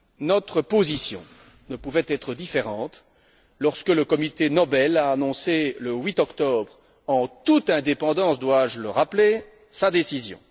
Notre position ne pouvait être différente lorsque le comité Nobel a annoncé le 8 octobre, en toute indépendance dois je le rappeler, sa décision.